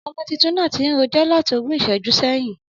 Ọmọ títùn nà tín rójọ̀ làtí ògún ìsẹjú sẹyin.